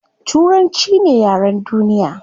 Turanchi ne yaren duniya